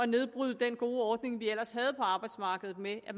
nedbryde den gode ordning vi ellers havde på arbejdsmarkedet med at